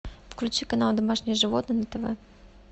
включи канал домашние животные на тв